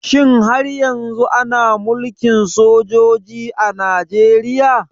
Shin har yanzu ana Mulkin sojoji a Najeriya?